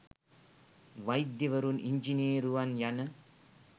වෛද්‍යවරුන් ඉංජිනේරුවන් යන